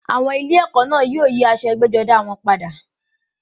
Àwọn ilé ẹ̀kọ́ náà yóò yí aṣọ ẹgbẹ́-jọdá wọn padà.